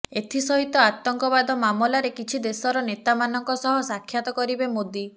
ଏଥିସହିତ ଆତଙ୍କବାଦ ମାମଲାରେ କିଛି ଦେଶର ନେତାମାନଙ୍କ ସହ ସାକ୍ଷାତ କରିବେ ମୋଦି